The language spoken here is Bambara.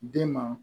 Den ma